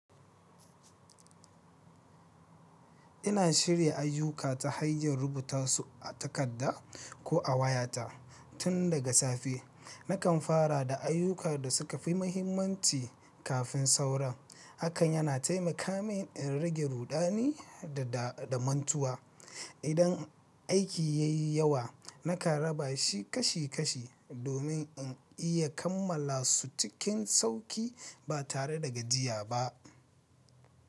Ina shirya ayyuka ta hanyar rubuta su a takadda, ko a wayata tun daga safe. Nakan fara da ayyukan da suka fi mahimmanci kafin sauran, Hakan yana taimaka min in rage ruɗani da-da da mantuwa. Idan aiki ya yi yawa, nakan raba shi kashi-kashi, domin in iya kammala su cikin sauƙi ba tare da gajiya ba.